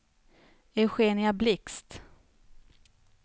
Eugenia Blixt